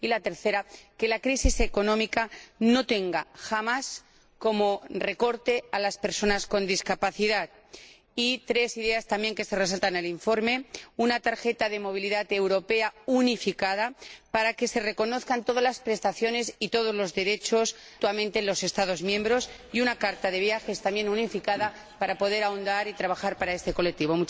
y la tercera, que la crisis económica no tenga jamás como recorte a las personas con discapacidad. Y por último, otras ideas que también se resaltan en el informe una tarjeta de movilidad europea unificada, para que se reconozcan mutuamente todas las prestaciones y todos los derechos en los Estados miembros, y una carta de viajes también unificada, para poder ahondar y trabajar para este colectivo.